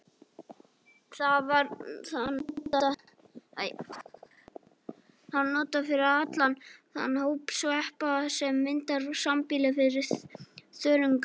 Þar var það notað yfir allan þann hóp sveppa sem myndar sambýli við þörunga.